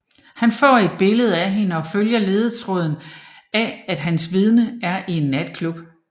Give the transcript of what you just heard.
Han får et billede af hende og følger ledetråden af at hans vidne er i en natklub